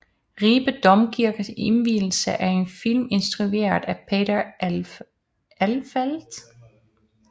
Ribe Domkirkes indvielse er en film instrueret af Peter Elfelt